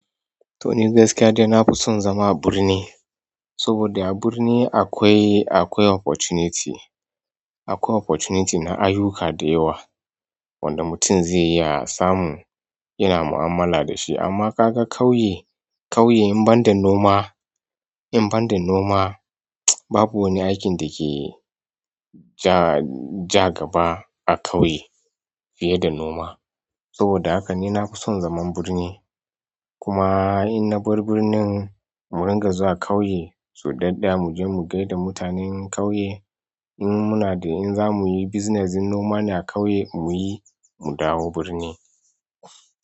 Toh ni gaskiya dai na fi son zama a birni, saboda a birni akwai, akwai opportunity, akwai opportunity na ayuka da yawa wanda mutum zai iya samu yana mu'amala da shi. Amma ka ga ƙauye, ƙauye in banda noma, in banda noma babu wani aikin da ke ja, ja gaba a ƙauye fiye da noma. Saboda haka ni na fi son zaman birni. Kuma in na bar birnin mu ringa zuwa ƙauye, su ɗaɗɗaya muje mu gaida mutanen ƙauye, in muna da in za muyi business in noma ne a ƙauye muyi, mu dawo birni.